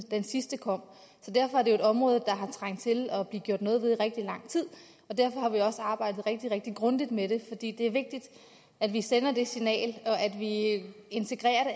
den sidste kom så derfor er det jo et område der har trængt til at blive gjort noget ved i rigtig lang tid og derfor har vi også arbejdet rigtig rigtig grundigt med det det er vigtigt at vi sender det signal at vi integrerer